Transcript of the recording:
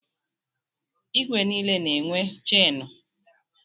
Igwe niile na-enwe chenụ.